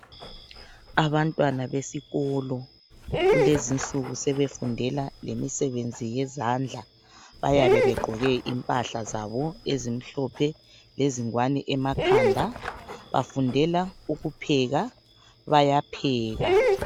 Abantwana besikolo kulezinsuku sebefundela lemisebenzi yezandla. Bayabe begqoke impahla zabo ezimhlophe lezingwani emakhanda. Bafundela ukupheka, bayapheka.